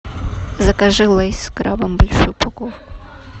закажи лейс с крабом большую упаковку